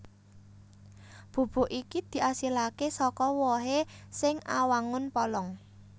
Bubuk iki diasilaké saka wohé sing awangun polong